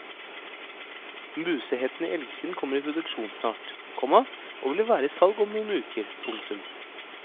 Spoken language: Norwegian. Musehetten i elgskinn kommer i produksjon snart, komma og vil være i salg om noen uker. punktum